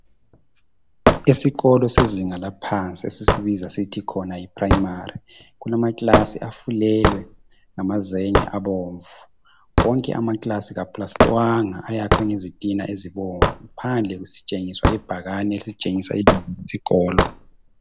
Esikolo sezinga laphansi esisibiza sithi khona yiPrimary, kulamaklasi afulelwe ngamazenge abomvu. Wonke amaklasi kaplastwanga ayakhwe ngezitina ezibomvu. Phandle sitshengiswa ibhakane elisitshengisa ibizo lesikolo.